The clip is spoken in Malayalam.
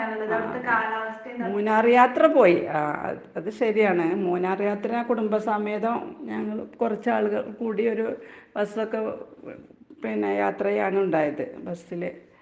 ആഹ് മ് മൂന്നാറ് യാത്ര പോയി. ആഹ് അത് അത് ശെരിയാണ്. മൂന്നാർ യാത്ര കുടുംബസമേതം ഞങ്ങള് കൊറച്ചാളുകൾ കൂടിയൊരു ബസ്സൊക്കെ ഉം പിന്നെ യാത്ര ചെയ്യാണുണ്ടായത്, ബസ്സില്